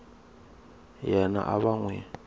yena a va n wi